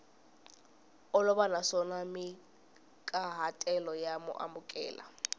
olova naswona mahikahatelo ya amukeleka